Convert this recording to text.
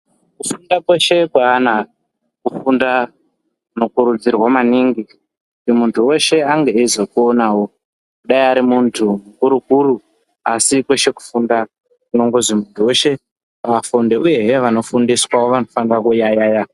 Kufunda kweshe kweana kufunda kunokurudzirwa maningi kuti muntu weshe ange eizoponawo dai ari muntu mukuru kuru asi kweshe kufunda kunongozi muntu weshe afunde uyehe vanofundiswa vanofana kuyaeya.